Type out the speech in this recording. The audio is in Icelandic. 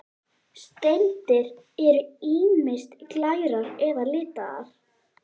Steindir eru ýmist glærar eða litaðar.